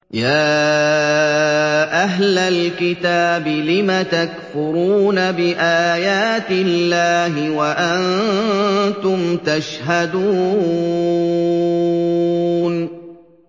يَا أَهْلَ الْكِتَابِ لِمَ تَكْفُرُونَ بِآيَاتِ اللَّهِ وَأَنتُمْ تَشْهَدُونَ